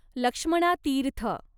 Lakshmana Tirtha